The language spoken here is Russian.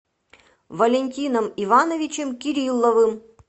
валентином ивановичем кирилловым